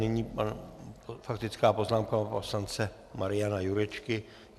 Nyní faktická poznámka pana poslance Mariana Jurečky.